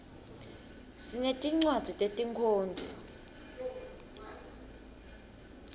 sinetincwadzi tetinkhondlo